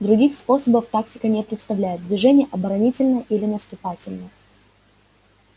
других способов тактика не представляет движение оборонительное или наступательное